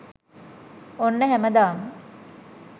ඔන්න හැමදාම